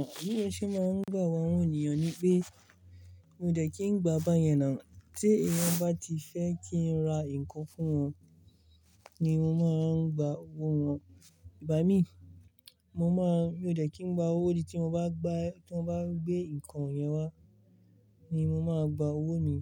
Àbí ó ṣe máa ń gbà wó àwọn ènìyàn ni pé, mi ò ṣe kí ń gba báyẹn náà. Tí èèyàn bá ti fẹ́ kí ń ra nǹkan fún wọn ni mo máa ń gba owó wọn. Ìgbà mi, mo máa, mi ò dẹ̀ kí ń gba owó, ó di tí mo bá gba, tí mo bá gbé nǹkan yẹn wá ni mo máa gba owó mi.